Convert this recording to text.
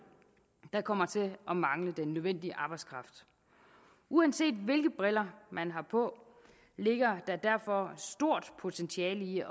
der kommer til at mangle den nødvendige arbejdskraft uanset hvilke briller man har på ligger der derfor stort potentiale i